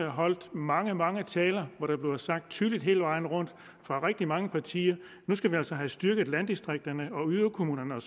og holdt mange mange taler hvor det bliver sagt tydeligt hele vejen rundt fra rigtig mange partier at nu skal vi altså have styrket landdistrikterne og yderkommunerne